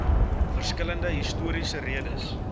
verskillende historiese redes